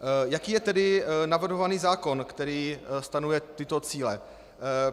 Jaký je tedy navrhovaný zákon, který stanovuje tyto cíle?